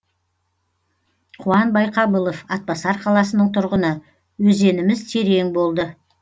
қуан байқабылов атбасар қаласының тұрғыны өзеніміз терең болды